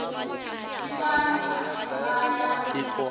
yi va ni matimba ya